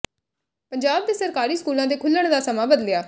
ਪੰਜਾਬ ਦੇ ਸਰਕਾਰੀ ਸਕੂਲਾਂ ਦੇ ਖੁਲ੍ਹਣ ਦਾ ਸਮਾਂ ਬਦਲਿਆ